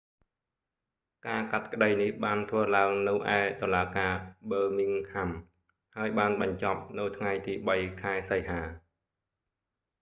ការកាត់ក្តីនេះបានធ្វើឡើងនៅឯតុលាការប៊ឺមីងហាំ birmingham crown ហើយបានបញ្ចប់នៅថ្ងៃទី 3 ខែសីហា